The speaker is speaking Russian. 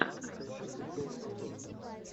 поищи приколы ютуб